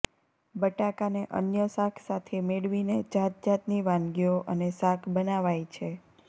બટાકાંને અન્ય શાક સાથે મેળવીને જાત જાતની વાનગીઓ અને શાક બનાવાય છે